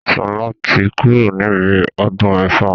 Sola tí kúrò níbi ọdún ifá